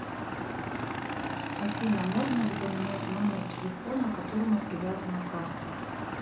афина можно ли поменять номер телефона к которому привязана карта